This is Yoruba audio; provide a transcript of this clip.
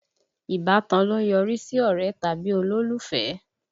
Ìbátan ló ń yọrí sí ọ̀rẹ́ tàbí olólùfẹ́